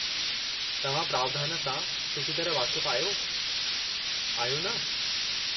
तव्हां प्रावधानु सां सुठी तरह वाक़िफ़ु आहियो, आहियो न?